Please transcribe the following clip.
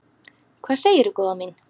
Hvað segirðu góða mín?